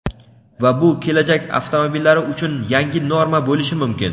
Va bu kelajak avtomobillari uchun yangi norma bo‘lishi mumkin.